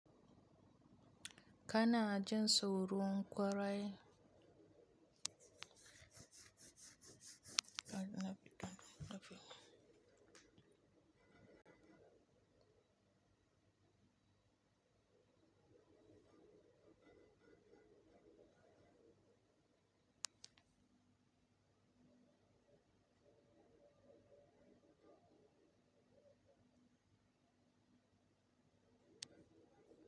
Kana jin sauron ƙwarai?